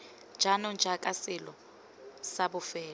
jaanong jaaka selo sa bofelo